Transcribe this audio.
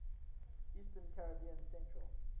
eastern caribbean central